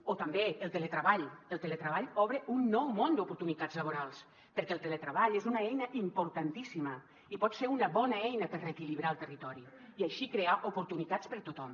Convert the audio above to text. o també el teletreball el teletreball obre un nou món d’oportunitats laborals perquè el teletreball és una eina importantíssima i pot ser una bona eina per reequilibrar el territori i així crear oportunitats per a tothom